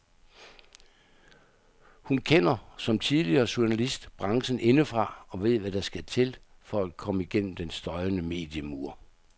Hun kender, som tidligere journalist, branchen indefra og ved hvad der skal til for at komme gennem den støjende mediemur.